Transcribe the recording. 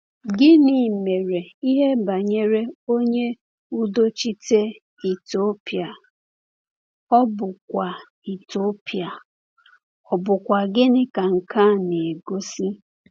Gịnị mere n’ihe banyere onye udochite Etiopịa, ọ̀ bụkwa Etiopịa, ọ̀ bụkwa gịnị ka nke a na-egosi?